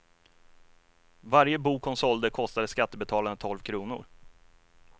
Varje bok hon sålde kostade skattebetalarna tolv kronor.